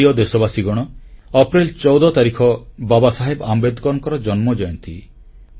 ମୋର ପ୍ରିୟ ଦେଶବାସୀଗଣ ଅପ୍ରେଲ 14 ତାରିଖ ବାବାସାହେବ ଆମ୍ବେଦକରଙ୍କ ଜୟନ୍ତୀ